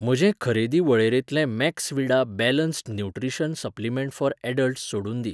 म्हजे खरेदी वळेरेंतलें Maxvida balanced nutrition supplement for adults सोडून दी.